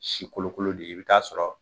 Si kolokolo de ye i bi ta'a sɔrɔ